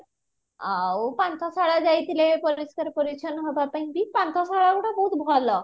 ଆଉ ପାନ୍ଥଶାଳା ଯାଇଥିଲେ ପରିଷ୍କାର ପରିଚ୍ଛନ ହବ ପାଇଁ କି ପାନ୍ଥଶାଳା ଗୁଡ ବହୁତ ଭଲ